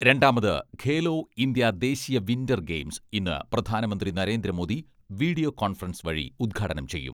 രണ്ടാമത് ഖേലോ ഇന്ത്യാ ദേശീയ winter games ഇന്ന് പ്രധാനമന്ത്രി നരേന്ദ്രമോദി വീഡിയോ കോൺഫറൻസ് വഴി ഉദ്ഘാടനം ചെയ്യും.